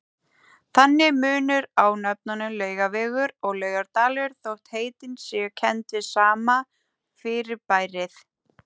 Þannig er munur á nöfnunum Laugavegur og Laugardalur þótt heitin séu kennd við sama fyrirbærið.